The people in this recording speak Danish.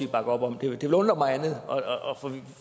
bakker op om det ville undre mig andet